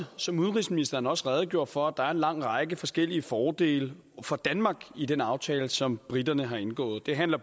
som udenrigsministeren også redegjorde for at der er en lang række forskellige fordele for danmark i den aftale som briterne har indgået det handler